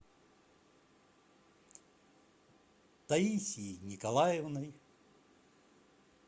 таисией николаевной